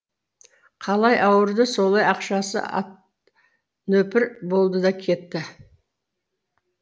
қалай ауырды солай ақшасы ат нөпір болды да кетті